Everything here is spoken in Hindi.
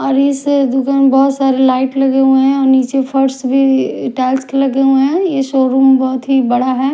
और इस दुकान में बहुत सारे लाइट लगे हुए हैं और नीचे फर्श भी टाइल्स के लगे हुए हैं यह शोरूम बहुत ही बड़ा है।